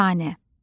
Əfsanə.